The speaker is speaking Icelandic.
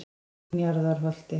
Njarðarholti